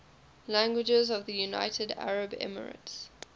languages of the united arab emirates